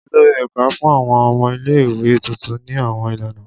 Olori ẹka n fun awọn ọmọ ile-iwe tuntun ni awọn ilana.